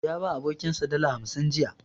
Ya ba abokinsa dala hamsin jiya.